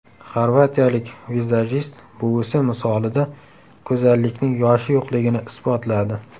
Xorvatiyalik vizajist buvisi misolida go‘zallikning yoshi yo‘qligini isbotladi .